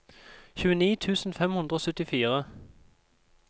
tjueni tusen fem hundre og syttifire